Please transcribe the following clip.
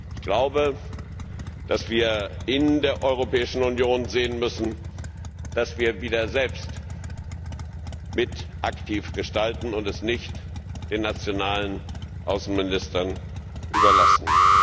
Ich glaube, dass wir in der Europäischen Union sehen müssen, dass wir wieder selbst aktiv mitgestalten und es nicht den nationalen Außenministern überlassen.